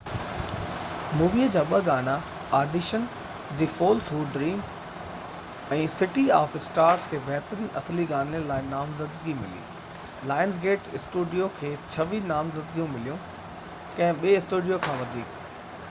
Movie جا ٻہ گانا، audition the fools who dream ۽ city of stars, کي بهترين اصلي گاني لاءِ نامزدگي ملي. لائنز گيٽ اسٽوڊيو کي 26 نامزدگيون مليون — ڪنهن ٻي اسٽوڊيو کان وڌيڪ